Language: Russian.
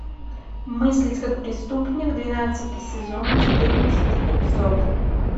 мыслить как преступник двенадцатый сезон четырнадцатый эпизод